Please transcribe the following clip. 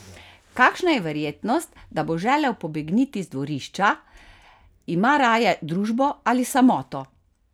Kakšna je verjetnost, da bo želel pobegniti z dvorišča, ima raje družbo ali samoto?